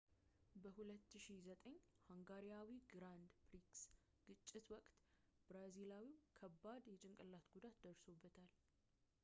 በ 2009 ሃንጋሪያዊ ግራንድ ፕሪክስ ግጭት ወቅት ብራዚላዊው በከባድ የጭንቅላት ጉዳት ደርሶበታል